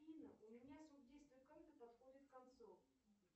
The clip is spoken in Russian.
афина у меня срок действия карты подходит к концу